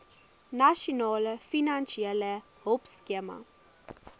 nasionale finansiële hulpskema